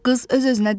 Qız öz-özünə dedi.